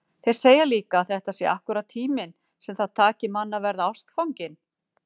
Þeir segja líka að þetta sé akkúrat tíminn sem það taki mann að verða ástfanginn.